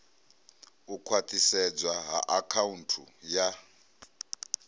u khwathisedzwa ha akhaunthu ya